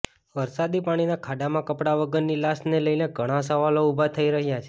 વરસાદી પાણીના ખાડામાં કપડા વગરની લાશ ને લઇ ઘણા સવાલો ઉભા થઇ રહયા છે